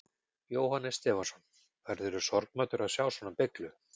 Jóhannes Stefánsson: Verðurðu sorgmæddur að sjá svona beyglu?